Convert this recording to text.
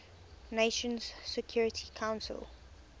nations security council